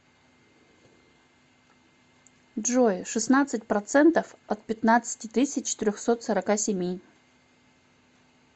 джой шестнадцать процентов от пятнадцати тысяч трехсот сорока семи